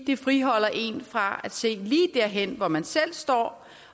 det friholder en fra at se lige derhen hvor man selv står